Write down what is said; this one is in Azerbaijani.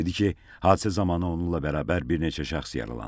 Dedi ki, hadisə zamanı onunla bərabər bir neçə şəxs yaralanıb.